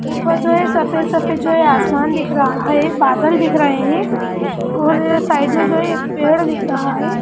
ऊपर जो है सफ़ेद-सफ़ेद जो है आसमान दिख रहा है बादल दिख रहे है और साइड में जो है एक पेड़ दिख रहा है।